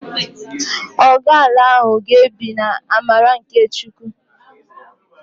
Ọgu ala ahụ ga-ebi n'amara nke Chukwu